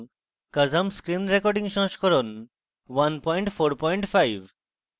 kazam screen রেকর্ডিংসংস্করণ 145